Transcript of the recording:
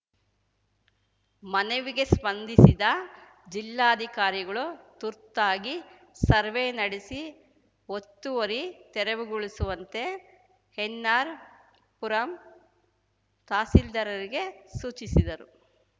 ಮನವಿಗೆ ಸ್ಪಂದಿಸಿದ ಜಿಲ್ಲಾಧಿಕಾರಿಗಳು ತುರ್ತಾಗಿ ಸರ್ವೆ ನಡೆಸಿ ಒತ್ತುವರಿ ತೆರವುಗೊಳಿಸುವಂತೆ ಎನ್‌ಆರ್‌ಪುರಂ ತಹಸೀಲ್ದಾರರಿಗೆ ಸೂಚಿಸಿದರು